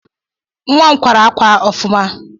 Nwa m kwara akwa m ọfụma